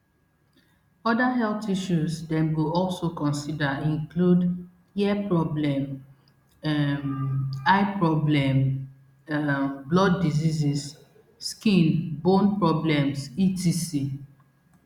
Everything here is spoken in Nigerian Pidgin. oda health issues dem go also consider include ear problem um eye problem um blood diseases skin bone problems etc